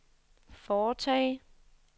foretage